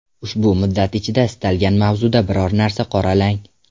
Ushbu muddat ichida istalgan mavzuda biror narsa qoralang.